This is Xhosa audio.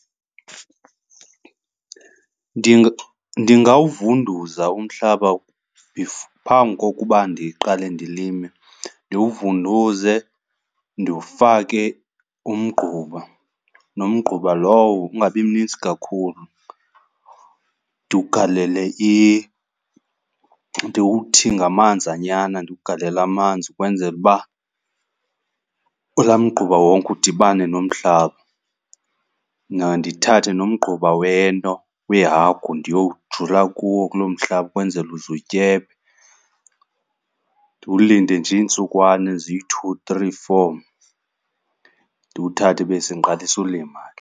Ndingawuvuza umhlaba phambi kokuba ndiqale ndilime. Ndiwuvunduze, ndifake umgquba. Nomgquba lowo ungabi mnintsi kakhulu. Ndiwugalele ndiwuthi ngamanzanyana, ndiwugalele amanzi kwenzele uba kulaa mgquba wonke udibane nomhlaba. Mna ndithathe nomgquba wento, weehagu ndiyowujula kuwo, kuloo mhlaba kwenzele uze utyebe. Ndiwulinda nje iintsukwana eziyi-two, three, four, ndiwuthathe bese ndiqalisa ulima ke.